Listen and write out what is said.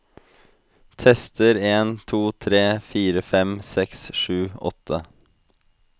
Tester en to tre fire fem seks sju åtte